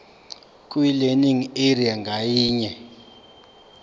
kwilearning area ngayinye